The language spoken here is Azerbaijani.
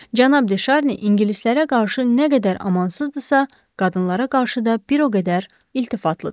Cənab De Şarni ingilislərə qarşı nə qədər amansızdırsa, qadınlara qarşı da bir o qədər iltifatlıdır.